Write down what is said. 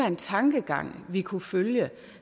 en tankegang vi kunne følge